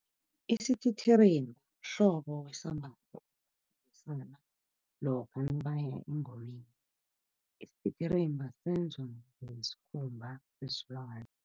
Isititirimba mhlobo wesambatho, lokha nabaya engomeni. Isititirimba senzwa ngesikhumba sesilwana.